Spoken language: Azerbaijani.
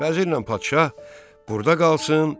Vəzirlə padşah burda qalsın,